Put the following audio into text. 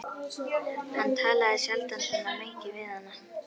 Hann talaði sjaldan svona mikið við hana.